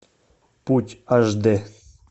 путь аш дэ